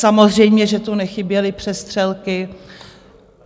Samozřejmě že tu nechyběly přestřelky.